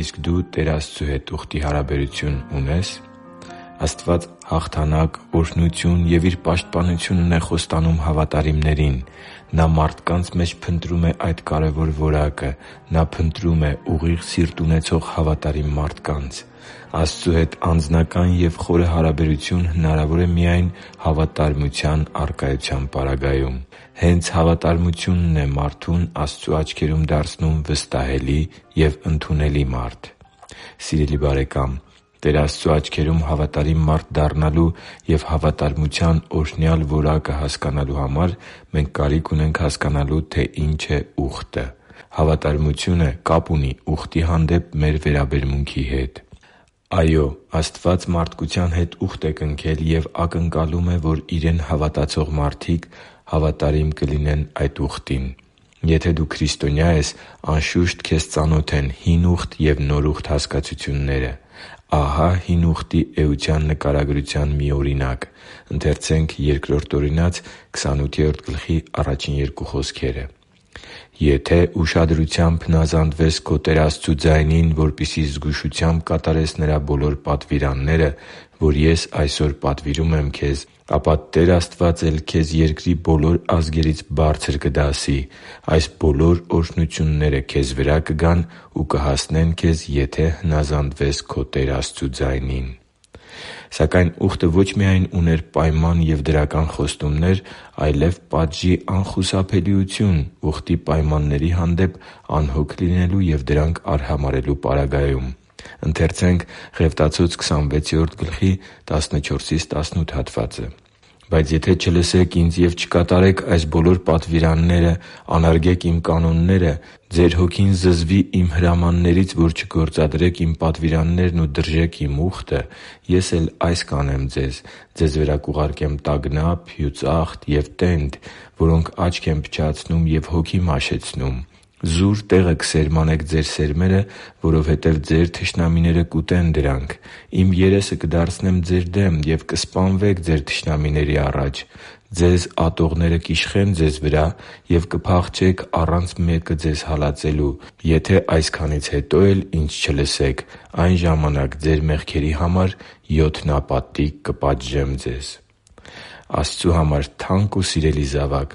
Իսկ դու Տեր Աստծու հետ ուխտի հարաբերություն ունե՞ս Աստված հաղթանակ, օրհնություն և Իր պաշտպանությունն է խոստանում հավատարիմներին։ Նա մարդկանց մեջ փնտրում է այդ կարևոր որակը։ Նա փնտրում է ուղիղ սիրտ ունեցող հավատարիմ մարդկանց։ Աստծու հետ անձնական և խորը հարաբերություն հնարավոր է միայն հավատարմության առկայության պարագայում։ Հենց հավատարմությո՛ւնն է մարդուն Աստծու աչքերում դարձնում վստահելի և ընդունելի մարդ։ Սիրելի՛ բարեկամ, Տեր Աստծու աչքերում հավատարիմ մարդ դառնալու և հավատարմության օրհնյալ որակը հասկանալու համար մենք կարիք ունենք հասկանալու, թե ինչ է ուխտը։ Հավատարմությունը կապ ունի ուխտի հանդեպ մեր վերաբերմունքի հետ։ Այո՛, Աստված մարդկության հետ ուխտ է կնքել և ակնկալում է, որ Իրեն հավատացող մարդիկ հավատարիմ կլինեն այդ ուխտին։ Եթե դու քրիստոնյա ես, անշուշտ, քեզ ծանոթ են Հին Ուխտ և Նոր Ուխտ հասկացությունները։ Ահա Հին Ուխտի էության նկարագրության մի օրինակ․ «Եթե ուշադրությամբ հնազանդվես քո Տեր Աստծու ձայնին, որպեսզի զգուշությամբ կատարես Նրա բոլոր պատվիրանները, որ ես այսօր պատվիրում եմ քեզ, ապա քո Տեր Աստվածն էլ քեզ երկրի բոլոր ազգերից բարձր կդասի։ Այս բոլոր օրհնությունները քեզ վրա կգան ու կհասնեն քեզ, եթե հնազանդվես քո Տեր Աստծու ձայնին…» (Բ Օրինաց 28.1-2)։ Սակայն ուխտը ո՛չ միայն ուներ պայման և դրական խոստումներ, այլև պատժի անխուսափելիություն՝ ուխտի պայմանների հանդեպ անհոգ լինելու և դրանք արհամարհելու պարագայում․ «Բայց եթե չլսեք Ինձ և չկատարեք այս բոլոր պատվիրանները, անարգեք Իմ կանոնները, ձեր հոգին զզվի Իմ հրամաններից, որ չգործադրեք Իմ պատվիրաններն ու դրժեք Իմ ուխտը, Ես էլ այս կանեմ ձեզ. ձեզ վրա կուղարկեմ տագնապ, հյուծախտ և տենդ, որոնք աչք են փչացնում և հոգի մաշեցնում. զուր տեղը կսերմանեք ձեր սերմերը, որովհետև ձեր թշնամիները կուտեն դրանք։ Իմ երեսը կդարձնեմ ձեր դեմ, և կսպանվեք ձեր թշնամիների առաջ. ձեզ ատողները կիշխեն ձեզ վրա, և կփախչեք առանց մեկը ձեզ հալածելու։ Եթե այսքանից հետո էլ Ինձ չլսեք, այն ժամանակ ձեր մեղքերի համար յոթնապատիկ կպատժեմ ձեզ» (Ղևտացոց 26.14-18)։ Աստծու համար թանկ ու սիրելի՛ զավակ,